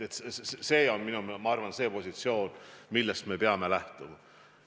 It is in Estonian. See on, ma arvan, positsioon, millest me peame lähtuma.